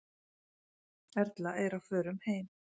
Erla er á förum heim.